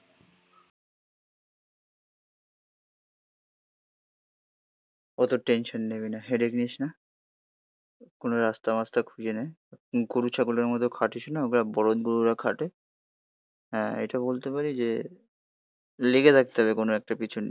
অত টেনশন নিবি না. হেডেক নিস না. কোনো রাস্তা মাস্টা খুঁজে নে. গরু, ছাগলের মতো খাঁটিস না. গুলো বলদ গরুরা খাটে. হ্যাঁ, এটা বলতে পারি যে, লেগে থাকতে হবে কোনো একটা পিছন নিয়ে.